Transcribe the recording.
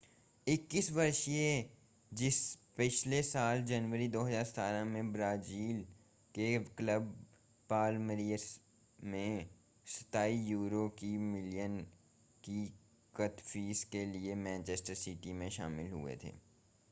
21 वर्षीय जीसस पिछले साल जनवरी 2017 में ब्राज़ील के क्लब पालमीरास से £ 27 मिलियन की कथित फीस के लिए मैनचेस्टर सिटी में शामिल हुए थे